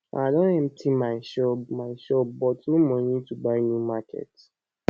i don empty my shop my shop but no money to buy new market